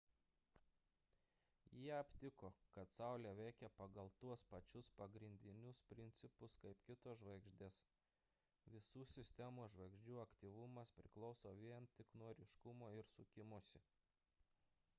jie aptiko kad saulė veikia pagal tuos pačius pagrindinius principus kaip kitos žvaigždės visų sistemos žvaigždžių aktyvumas priklauso vien tik nuo ryškumo ir sukimosi